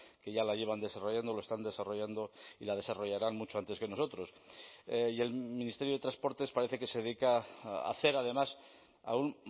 que ya la llevan desarrollando lo están desarrollando y la desarrollarán mucho antes que nosotros y el ministerio de transportes parece que se dedica a hacer además aún